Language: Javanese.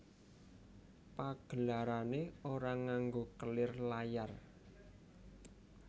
Pagelarane ora nganggo kelir layar